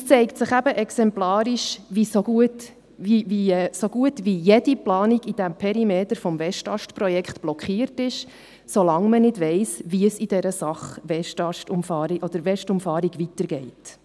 Es zeigt sich eben exemplarisch, dass so gut wie jede Planung im Perimeter des Westast-Projekts blockiert ist, solange man nicht weiss, wie es in der Sache WestUmfahrung weitergeht.